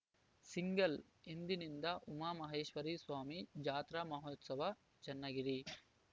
single ಇಂದಿನಿಂದ ಉಮಾಮಹೇಶ್ವರಿ ಸ್ವಾಮಿ ಜಾತ್ರಾ ಮಹೋತ್ಸವ ಚನ್ನಗಿರಿ